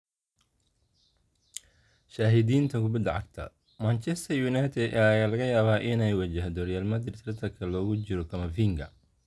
(Shahidinta kubada cagta) Manchester United ayaa laga yaabaa inay wajahdo Real Madrid tartanka loogu jiro Camavinga.